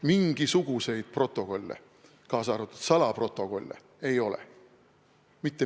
Mingisuguseid protokolle, kaasa arvatud salaprotokolle, ei ole.